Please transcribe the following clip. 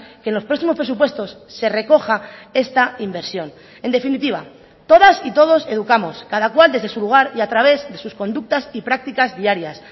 que en los próximos presupuestos se recoja esta inversión en definitiva todas y todos educamos cada cual desde su lugar y a través de sus conductas y prácticas diarias